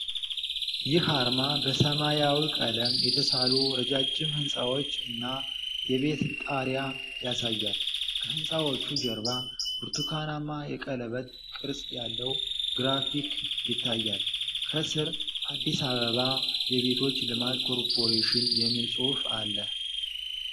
ይህ አርማ በሰማያዊ ቀለም የተሳሉ ረጃጅም ሕንጻዎች እና የቤት ጣሪያ ያሳያል። ከሕንፃዎቹ ጀርባ ብርቱካናማ የቀለበት ቅርጽ ያለው ግራፊክ ይታያል። ከስር "አዲስ አበባ የቤቶች ልማት ኮርፖሬሽን" የሚል ጽሑፍ አለ።